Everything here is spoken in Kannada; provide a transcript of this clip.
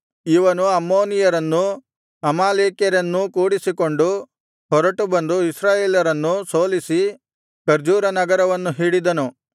ಇವನು ಅಮ್ಮೋನಿಯರನ್ನೂ ಅಮಾಲೇಕ್ಯರನ್ನೂ ಕೂಡಿಸಿಕೊಂಡು ಹೊರಟು ಬಂದು ಇಸ್ರಾಯೇಲರನ್ನು ಸೋಲಿಸಿ ಖರ್ಜೂರನಗರವನ್ನು ಹಿಡಿದನು